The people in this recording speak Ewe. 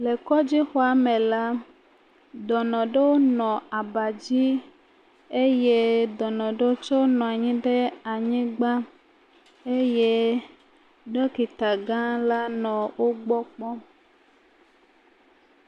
Le kɔdzixɔa me la, dɔnɔ ɖewo nɔ aba dzi eye dɔnɔ ɖe tsɛwo nɔ anyi ɖe anyigba eye ɖɔkita gã la nɔ wogbɔ kpɔm.